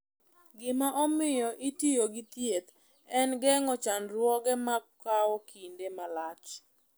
Gima omiyo itiyo gi thieth en geng’o chandruoge ma kawo kinde malach.